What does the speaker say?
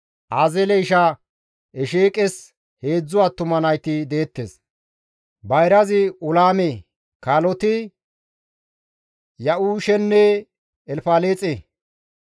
Azeele isha Esheeqes heedzdzu attuma nayti deettes; bayrazi Ulaame kaaloti Ya7uushenne Elfaleexe.